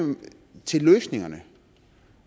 til løsningerne